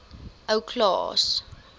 ou klaas